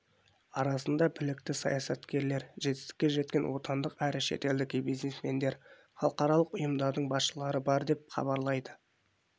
арасында білікті саясаткерлер жетістікке жеткен отандық әрі шетелдік бизнесмендер халықаралық ұйымдардың басшылары бар деп хабарлайды